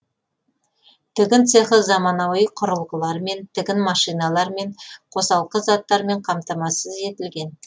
тігін цехы заманауи құрылғылармен тігін машиналарымен қосалқы заттармен қамтамасыз етілген